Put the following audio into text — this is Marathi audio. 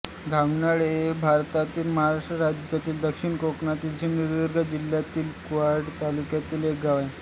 घावनाळे हे भारतातील महाराष्ट्र राज्यातील दक्षिण कोकणातील सिंधुदुर्ग जिल्ह्यातील कुडाळ तालुक्यातील एक गाव आहे